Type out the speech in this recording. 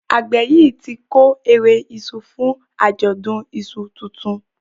àgbè yí tí kore iṣu fún Ajọdun iṣu títún